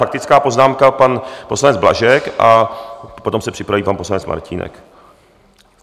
Faktická poznámka pan poslanec Blažek a potom se připraví pan poslanec Martínek.